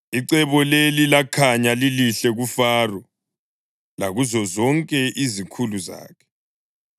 Icebo leli lakhanya lilihle kuFaro lakuzo zonke izikhulu zakhe.